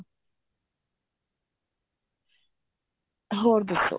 ਹੋਰ ਦੱਸੋ